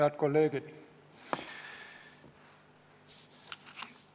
Head kolleegid!